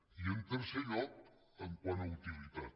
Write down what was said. i en tercer lloc quant a utilitat